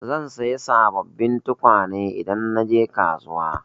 Zan saya sabobbin tukwane idan na je kasuwa.